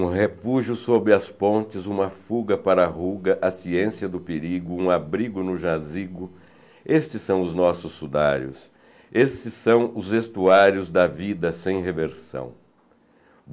Um refúgio sob as pontes, uma fuga para a ruga, a ciência do perigo, um abrigo no jazigo, estes são os nossos sudários, esses são os estuários da vida sem reversão.